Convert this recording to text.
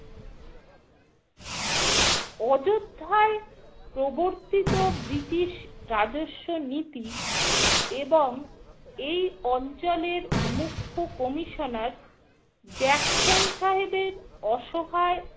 অযোধ্যায় প্রবর্তিত ব্রিটিশ রাজস্ব নীতি এবং এই অঞ্চলের মুখ্য commissioner জ্যাকসন সাহেবের অসহায়